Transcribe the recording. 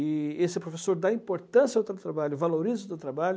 E esse professor dá importância ao trabalho, valoriza o seu trabalho.